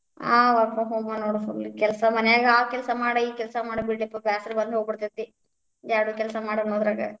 ಹಾ work from home ನೋಡ್ full ಕೆಲ್ಸ ಮನ್ಯಾಗ, ಆ ಕೆಲ್ಸ ಮಾಡ, ಈ ಕೆಲ್ಸಾ ಮಾಡ ಬಿಡ್ಲೇಪಾ ಬ್ಯಾಸರ ಬಂದ್ ಹೋಗಿಬಿಡ್ತೇತಿ, ಯಾರ್ಡು ಕೆಲ್ಸ ಮಾಡ್ ಅನ್ನೂದ್ರಾಗ.